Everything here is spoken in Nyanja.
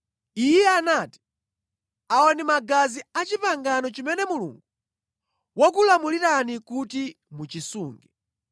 Iye anati, “Awa ndi magazi a pangano limene Mulungu wakulamulirani kuti mulisunge.”